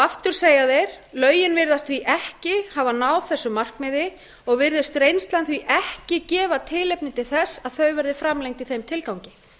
aftur segja þeir lögin virðast því ekki hafa náð þessu markmiði og virðist reynslan því ekki gefa tilefni til þess að þau verði framlengd í þeim tilgangi